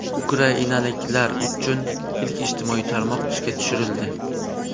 Ukrainaliklar uchun ilk ijtimoiy tarmoq ishga tushirildi.